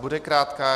Bude krátká.